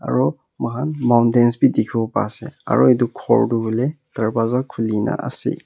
Aro moikhan mountains bhi dekhibo pa ase aro etu ghor toh hoile darwaza khuli na ase.